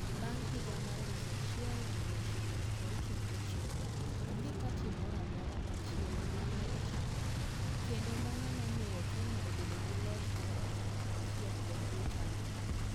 Bang ' higa mar 1969, onge pati moro amora machielo ma ne ochakore, kendo mano nomiyo Kenya obedo gi loch mar chama achiel e bwo KANU.